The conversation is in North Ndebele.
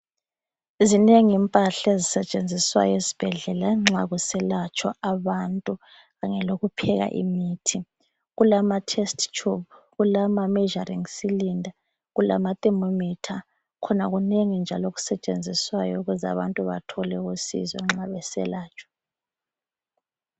Zinengi impahla ezisetshenziswayo ezibhedlela nxa kuselatshwa abantu kanye lokupheka imithi. Kulamatest tube, kulamameasuring cylinder, kulamathermometer. Khona kunengi njalo okusetshenziswayo ukuze abantu bathole usizo nxa beselatshwa.